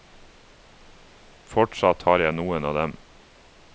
Fortsatt har jeg noen av dem.